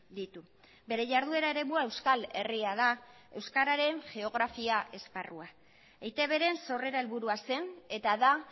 ditu bere jarduera eremua euskal herria da euskararen geografia esparrua eitbren sorrera helburua zen eta da